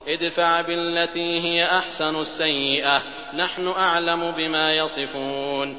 ادْفَعْ بِالَّتِي هِيَ أَحْسَنُ السَّيِّئَةَ ۚ نَحْنُ أَعْلَمُ بِمَا يَصِفُونَ